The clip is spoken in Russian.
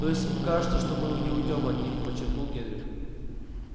то есть им кажется что мы не уйдём от них подчеркнул генри